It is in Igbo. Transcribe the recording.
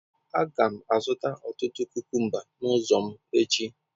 Aga m azụta ọtụtụ kukumba n'ụzọ m echi.